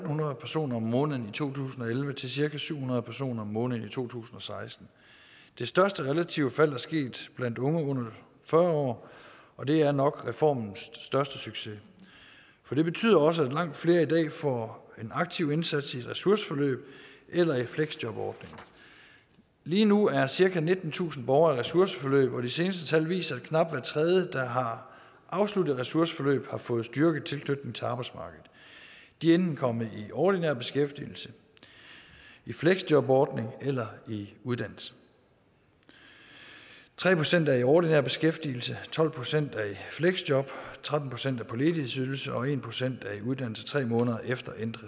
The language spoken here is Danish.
hundrede personer om måneden to tusind og elleve til cirka syv hundrede personer om måneden i to tusind og seksten det største relative fald er sket blandt unge under fyrre år og det er nok reformens største succes for det betyder også at langt flere i dag får en aktiv indsats i et ressourceforløb eller i fleksjobordning lige nu er cirka nittentusind borgere i ressourceforløb og de seneste tal viser at knap hver tredje der har afsluttet et ressourceforløb har fået styrket tilknytningen til arbejdsmarkedet de er enten kommet i ordinær beskæftigelse i fleksjobordning eller i uddannelse tre procent er i ordinær beskæftigelse tolv procent er i fleksjob tretten procent er på ledighedsydelse og en procent er i uddannelse tre måneder efter endt